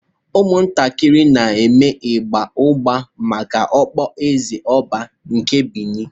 Ụmụntakịrị na-eme ịgba ụgba maka okpueze Oba nke Beni.